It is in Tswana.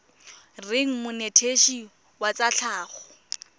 reng monetetshi wa tsa tlhago